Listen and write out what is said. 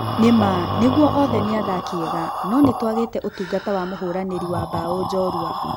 Nĩma nĩgũo othe nĩ athaki ega no nĩtũagĩte ũtungata wa mũhũranĩri wa bao jorua.